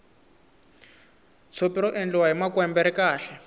tshopi ra endliwa hi makwembe ri kahle